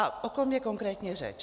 A o kom je konkrétně řeč.